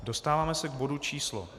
Dostáváme se k bodu číslo